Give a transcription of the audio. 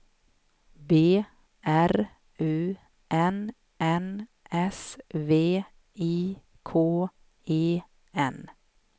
B R U N N S V I K E N